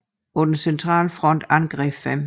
På den centrale front angreb 5